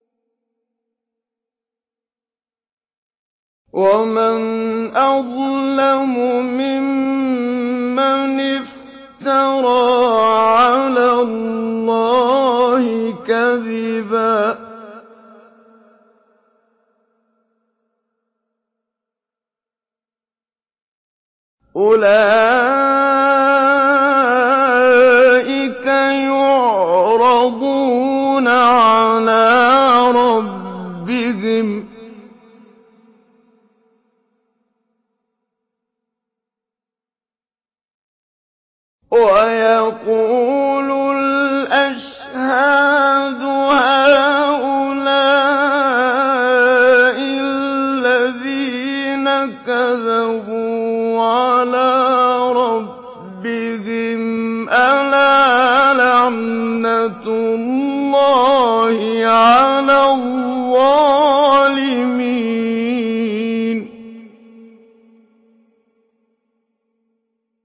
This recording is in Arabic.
وَمَنْ أَظْلَمُ مِمَّنِ افْتَرَىٰ عَلَى اللَّهِ كَذِبًا ۚ أُولَٰئِكَ يُعْرَضُونَ عَلَىٰ رَبِّهِمْ وَيَقُولُ الْأَشْهَادُ هَٰؤُلَاءِ الَّذِينَ كَذَبُوا عَلَىٰ رَبِّهِمْ ۚ أَلَا لَعْنَةُ اللَّهِ عَلَى الظَّالِمِينَ